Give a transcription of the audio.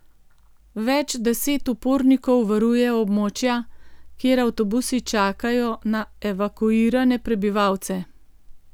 Več deset upornikov varuje območja, kjer avtobusi čakajo na evakuirane prebivalce.